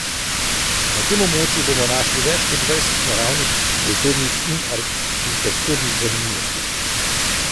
Na tem območju bomo našli več kot dvajset naravnih, kulturnih in arhitekturnih zanimivosti.